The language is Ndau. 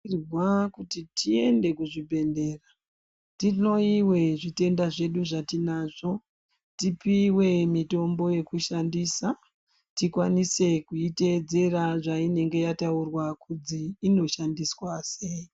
Tinofanirwa kuti tiende kuzvibhedhlera tihloyiwe zvitenda zvedu zvatinazvo tipiwe mitombo yekushandisa tikwanise kuitedzera zvainenge yataurwa kuti inoshandiswa sei.